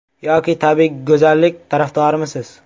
Yoki tabbiy go‘zallik tarafdorimisiz?